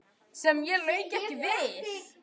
Sem ég lauk ekki við.